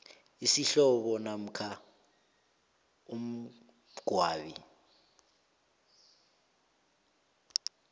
isihlobo namkha umngcwabi